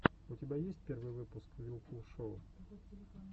у тебя есть первый выпуск вилкул шоу